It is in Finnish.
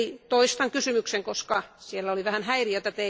Toistan kysymyksen, koska siellä oli vähän häiriötä.